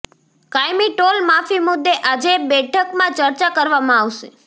કાયમી ટોલ માફી મુદ્દે આજે બેઠકમાં ચર્ચા કરવામાં આવશે